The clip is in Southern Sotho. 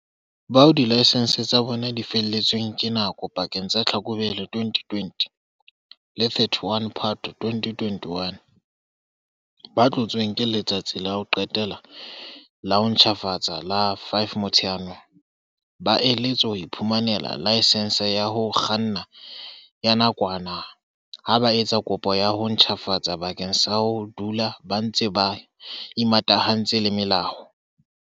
Bao dilaesense tsa bona di felletsweng ke nako pakeng tsa Tlhakubele 2020 le 31 Phato 2021, ba tlotsweng ke letsatsi la ho qetela la ho ntjhafatsa la 5 Motsheanong, ba eletswa ho iphumanela laesense ya ho kganna ya nakwana ha ba etsa kopo ya ho ntjhafatsa bakeng sa ho dula ba ntse ba imatahantse le molao.